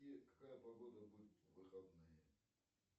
какая погода будет в выходные